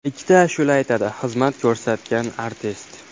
Ikkita ashula aytadi xizmat ko‘rsatgan artist.